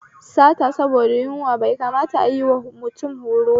Sata saboda da yunwa bai kamata ayiwa mutum horoba